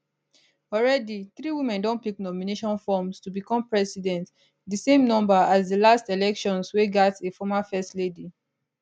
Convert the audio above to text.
already three women don pick nomination forms to become president di same number as di last elections wey gat a former first lady